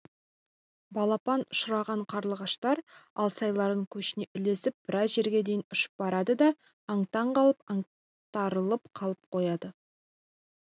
балапан ұшырған қарлығаштар алсайлардың көшіне ілесіп біраз жерге дейін ұшып барады да аң-таң қалып аңтарылып қалып қояды